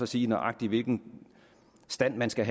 sige nøjagtig hvilken stand man skal